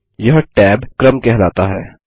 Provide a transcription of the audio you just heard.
यह टैब क्रम कहलाता है